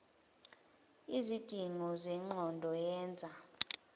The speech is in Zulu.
lzidingo zengqondo yenza